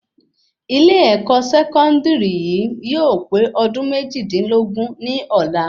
Ilé-èkó sẹkọndiri yìí yóò pé ọdún méjìdínlógún ní ọ̀la